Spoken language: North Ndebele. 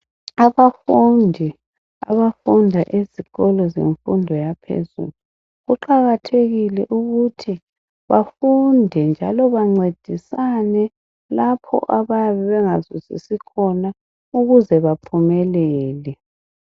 Abafundi abafunda ezikolo zemfundo yaphezulu, kuqakathekile ukuthi bafunde njalo bancedisane lapho abayabe bengazwisisi khona ukuze baphumelele.